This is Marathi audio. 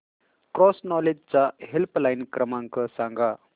क्रॉस नॉलेज चा हेल्पलाइन क्रमांक सांगा